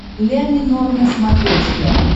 ля минор на смотрешке